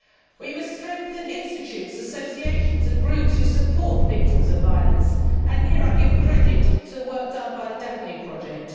We must strengthen institutes, associations and groups who support victims of violence and here I give credit to the work done by the Daphne project.